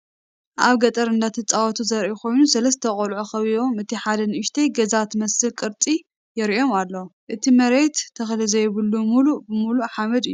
አብ ገጠር ቆልዑ እንዳተፃወቱ ዘርኢ ኮይኑ ሰለስተ ቆልዑ ከቢቦም እቲ ሓደ ንኡሽተይ ገዛ ትመስል ቅርፂ የሪኦም አሎ፡፡ እቲ መርየት ተክሊ ዘየብሉ ሙሉእ ብሙሉእ ሓመድ እዩ፡፡